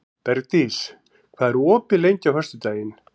Bergdís, hvað er opið lengi á föstudaginn?